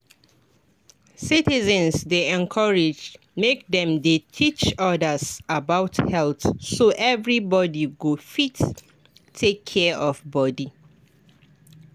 citizens dey encouraged make dem dey teach others about health so everybody go fit take care of body.